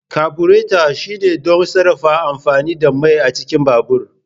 kaburato shine don sarrafa amfani da mai a cikin babur